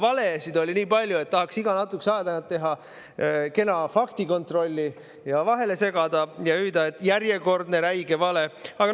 Valesid oli nii palju, et tahaks iga natukese aja tagant teha kena faktikontrolli ja vahele segada ja hüüda: "Järjekordne räige vale!